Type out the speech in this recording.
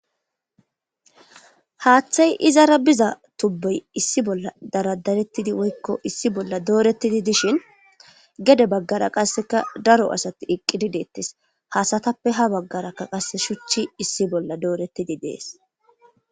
Haaththay izara biza tubbuy issi bolla daradarettidi woykko issi bolla doorettidi dishin gede baggara qasseka daro asati iqqidideettes hasatappe ha baggarakka qase shuchchi issi bolla doorettidi dees.